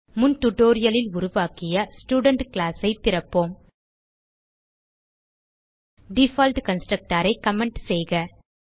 முன் டியூட்டோரியல் லில் உருவாக்கிய ஸ்டூடென்ட் கிளாஸ் ஐ திறப்போம் டிஃபால்ட் கன்ஸ்ட்ரக்டர் ஐ கமெண்ட் செய்க